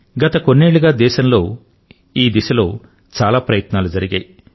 గత కొన్నేళ్లుగా దేశంలో ఈ దిశ లో చాలా ప్రయత్నాలు జరిగాయి